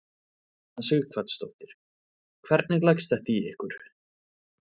Una Sighvatsdóttir: Hvernig leggst þetta í ykkur?